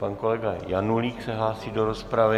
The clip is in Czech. Pan kolega Janulík se hlásí do rozpravy.